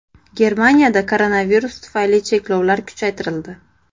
Germaniyada koronavirus tufayli cheklovlar kuchaytirildi.